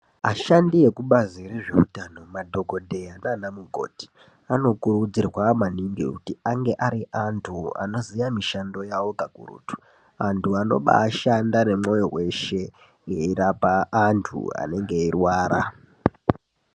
Ashandi ekubazi rezveutano, madhokodheya nanamukoti anokurudzirwa maningi kuti ange ari antu anoziya mishando yawo kakurutu. Antu anobashanda nemwoyo weshe eirapa antu anenge eirwara.